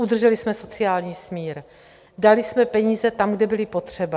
Udrželi jsme sociální smír, dali jsme peníze tam, kde byly potřeba.